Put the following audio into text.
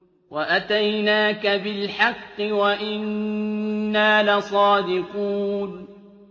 وَأَتَيْنَاكَ بِالْحَقِّ وَإِنَّا لَصَادِقُونَ